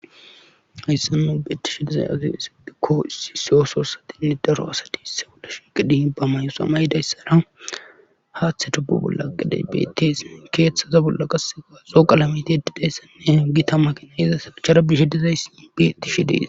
Haysan nu beettishe dizay azi hisiphikko issi seo soossatinne daro asati isse wala shiqidi ba may7o samaydayssara haaththe tubbu bolla aqiday btsi keeththaza bolla qasse gaaxo qalameti di dheessanne hingi tamakina yeza sagichara bishe dizays bettishe dees.